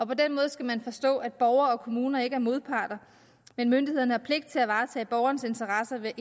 på den måde skal man forstå at borgerne og kommunerne ikke er modparter men myndighederne har pligt til at varetage borgerens interesse ved at